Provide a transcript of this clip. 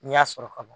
N'i y'a sɔrɔ ka ban